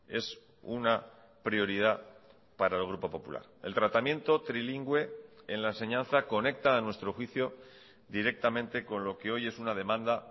es una prioridad para el grupo popular el tratamiento trilingüe en la enseñanza conecta a nuestro juicio directamente con lo que hoy es una demanda